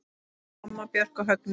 Mamma, Björk og Högni.